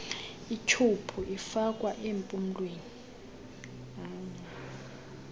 ityhubhu ifakwa nempumlweni